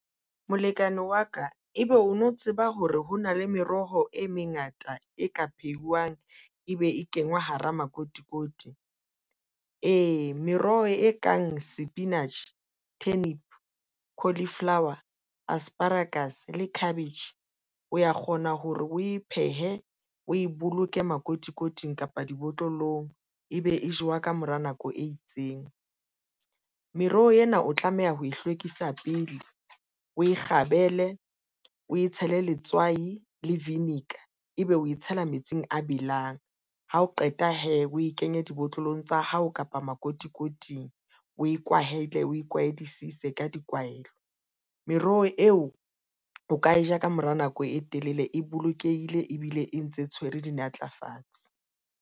Molekane wa ka ebe o no tseba hore ho na le meroho e mengata e ka phehiwang e be e kengwa hara makotikoti. Meroho e kang sepinatjhe, turnip, cauliflower, asparagus le cabbage o ya kgona hore o e phehe o e boloke makotikoting kapa dibotlolong ebe e jowa ka mora nako e itseng. Meroho ena o tlameha ho e hlwekisa pele o e kgabele, o e tshele letswai le vinegar ebe o tshela metsing a belang ha o qeta o e kenye dibotlolong tsa hao kapa makotikoting, o e kwahele o e kwahedisise ka dikwaelo meroho eo o ka e ja ka mora nako e telele e bolokehile ebile e ntse tshwere dimatlafatsi.